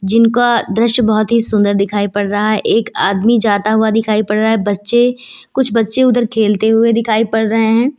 जिनका दृश्य बहुत ही सुंदर दिखाई पड़ रहा है एक आदमी जाता हुआ दिखाई पड़ रहा है बच्चे कुछ बच्चे उधर खेलते हुए दिखाई पड़ रहे हैं।